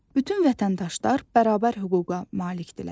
Bütün vətəndaşlar bərabər hüquqa malikdirlər.